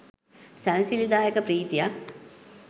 සැනසිලිදායක ප්‍රීතියක්.